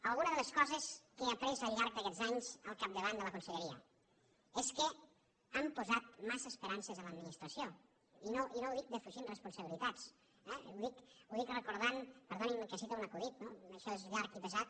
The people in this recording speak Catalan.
alguna de les coses que he après al llarg d’aquests anys al capdavant de la conselleria és que hem posat massa esperances en l’administració i no ho dic defugint responsabilitats eh ho dic recordant perdonin me que citi un acudit no perquè això és llarg i pesat